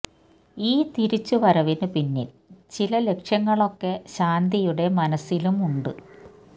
ഈ തിരിച്ചു വരവിന് പിന്നിൽ ചില ലക്ഷ്യങ്ങളൊക്കെ ശാന്തിയുടെ മനസ്സിലും ഉണ്ട്